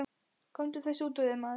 Komdu þessu út úr þér, maður!